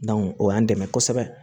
o y'an dɛmɛ kosɛbɛ